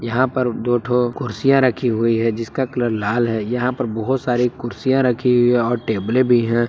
यहां पर दो ठो कुर्सियां रखी हुई है जिसका कलर लाल है यहां पर बहोत सारी कुर्सियां रखी हुई और टेबले भी है।